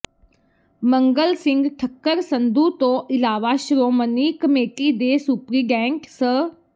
ਮੰਗਲ ਸਿੰਘ ਠੱਕਰ ਸੰਧੂ ਤੋਂ ਇਲਾਵਾ ਸ਼੍ਰੋਮਣੀ ਕਮੇਟੀ ਦੇ ਸੁਪ੍ਰਿੰਟੈਂਡੈਂਟ ਸ